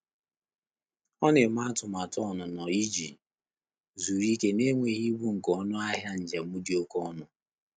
Ọ́ nà-émé àtụ́màtụ́ ọ́nụ́nọ́ ìjí zùrù íké n’énwéghị́ íbù nké ọnụ́ áhị́à njém dị́ óké ọnụ́.